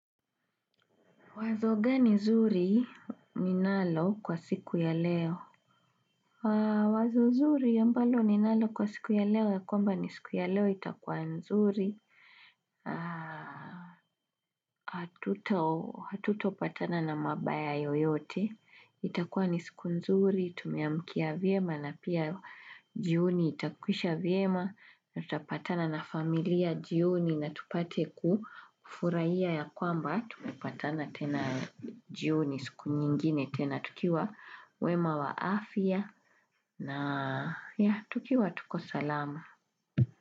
Wazo gani nzuri ninalo kwa siku ya leo? Wazo zuri ya mbalo ninalo kwa siku ya leo ya kwamba ni siku ya leo itakuwa nzuri. Tuto patana na mabaya yoyote. Itakuwa ni siku nzuri, tumiamkia vyema na pia jioni itakwisha vyema. Na tutapatana na familia jioni na tupate kufurahia ya kwamba tupapatana tena jioni siku nyingine tena tukiwa wema wa afya na ya tukiwa tuko salama.